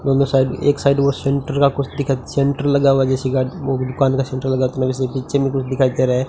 दोनों साइड एक साइड वो सेंटर का कुछ दिखाई सेंटर लगा हुआ जैसी गाड़ी दुकान का सेंटर लगा हुआ पीछे में कुछ दिखाई दे रहा है।